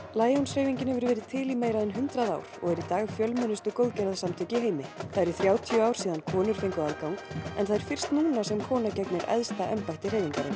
Lions hreyfingin hefur verið til í meira en hundrað ár og er í dag fjölmennustu góðgerðarsamtök í heimi það eru þrjátíu ár síðan konur fengu aðgang en það er fyrst núna sem kona gegnir efsta embætti hreyfingarinnar